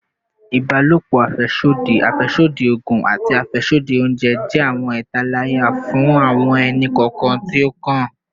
Ibalopo afẹsodi, afẹsodi oogun, ati afẹsodi ounjẹ jẹ awọn italaya fun awọn ẹni-kọọkan ti o kan